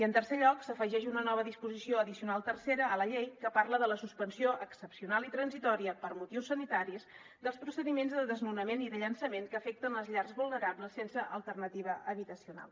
en tercer lloc s’afegeix una nova disposició addicional tercera a la llei que parla de la suspensió excepcional i transitòria per motius sanitaris dels procediments de desnonament i de llançament que afecten les llars vulnerables sense alternativa habitacional